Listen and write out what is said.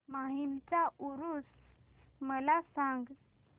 माहीमचा ऊरुस मला सांग